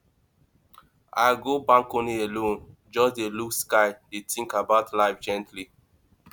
i go balcony alone just dey look sky dey think about life gently